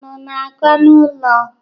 Unu na-aga n'ụlọ?